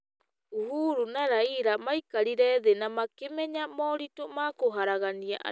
Uhuru na Raila maikarire thĩ na makĩmenya moritũ ma kũharagania andũ,